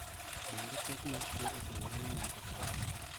Bende pek mar tuo opogore ne ng'ato ka ng'ato